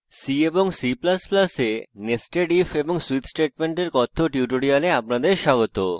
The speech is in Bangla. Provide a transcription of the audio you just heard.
c এবং c ++ এ nested if এবং switch স্টেটমেন্টের কথ্য tutorial আপনাদের স্বাগত